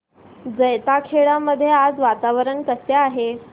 जैताखेडा मध्ये आज वातावरण कसे आहे